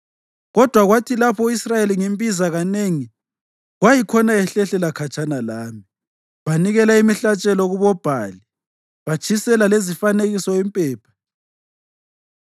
Kodwa kwathi lapho u-Israyeli ngimbiza kanengi kwayikhona ehlehlela khatshana lami. Banikela imihlatshelo kuboBhali, batshisela lezifanekiso impepha.